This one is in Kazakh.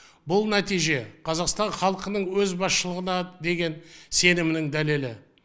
бұл нәтиже қазақстан халқының өз басшылығына деген сенімінің дәлелі